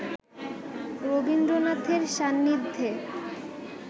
রবীন্দ্রনাথের সান্নিধ্যে